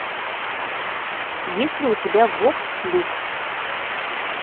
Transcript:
есть ли у тебя вокс люкс